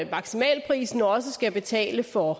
maksimalprisen også skal betale for